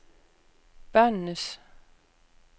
børnenes